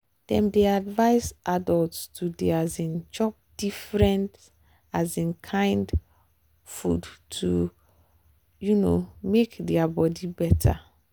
dem dey advise adults to dey um chop different um kain food to um make their body better.